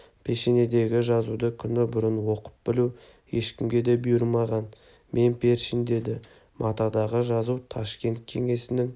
пешенедегі жазуды күні бұрын оқып білу ешкімге де бұйырмаған мен першин деді матадағы жазу ташкент кеңесінің